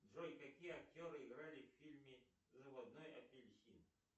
джой какие актеры играли в фильме заводной апельсин